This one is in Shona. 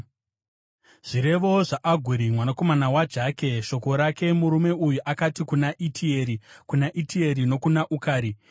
Zvirevo zvaAguri mwanakomana waJake, shoko rake: Murume uyu akati kuna Itieri, kuna Itieri nokuna Ukari: